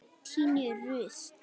Ég tíni rusl.